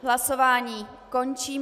Hlasování končím.